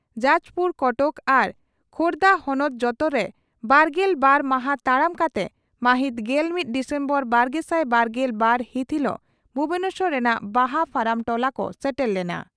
ᱡᱟᱡᱽᱯᱩᱨ ᱠᱚᱴᱚᱠ ᱟᱨ ᱠᱷᱳᱨᱫᱟ ᱦᱚᱱᱚᱛ ᱡᱚᱛᱚᱨᱮ ᱵᱟᱨᱜᱮᱞ ᱵᱟᱨ ᱢᱟᱦᱟ ᱛᱟᱲᱟᱢ ᱠᱟᱛᱮ ᱢᱟᱹᱦᱤᱛ ᱜᱮᱞᱢᱤᱛ ᱰᱤᱥᱮᱢᱵᱚᱨ ᱵᱟᱨᱜᱮᱥᱟᱭ ᱵᱟᱨᱜᱮᱞ ᱵᱟᱨ ᱦᱤᱛ ᱦᱤᱞᱚᱜ ᱵᱷᱩᱵᱚᱱᱮᱥᱚᱨ ᱨᱮᱱᱟᱜ ᱵᱟᱦᱟ ᱯᱷᱟᱨᱟᱢ ᱴᱚᱞᱟ ᱠᱚ ᱥᱮᱴᱮᱨ ᱞᱮᱱᱟ ᱾